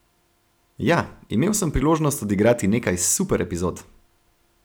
Ja, imel sem priložnost odigrati nekaj super epizod.